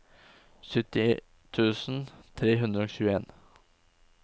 sytti tusen tre hundre og tjueen